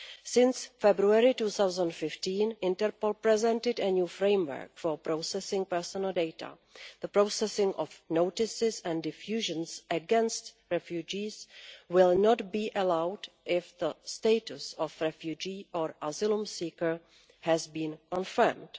Since February 2015 Interpol has presented a new framework for processing personal data. The processing of notices and diffusions' against refugees will not be allowed if the status of refugee or asylum seeker has been confirmed.